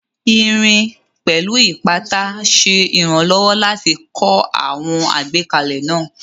Irin, pẹ̀lú ipata, ṣe ìrànlọ́wọ́ láti kọ́ àwọn ìgbékalẹ̀ náà